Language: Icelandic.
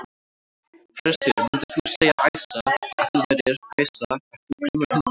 Hersir: Myndir þú segja, Æsa, að þú værir, Æsa ert þú grimmur hundur?